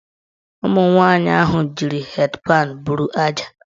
Ụmụnwanyị ahụ jiri hed panụ bụrụ aja.